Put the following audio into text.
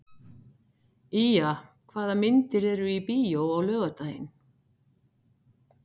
Ýja, hvaða myndir eru í bíó á laugardaginn?